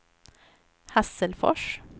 Hasselfors